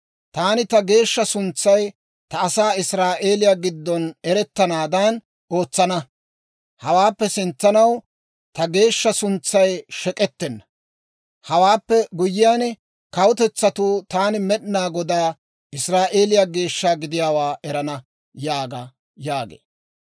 Taani ta geeshsha suntsay ta asaa Israa'eeliyaa giddon erettanaadan ootsana. Hawaappe sintsanaw ta geeshsha suntsay shek'k'ettenna. Hewaappe guyyiyaan, kawutetsatuu taani Med'inaa Godaa, Israa'eeliyaa Geeshsha gidiyaawaa erana» yaaga› yaagee.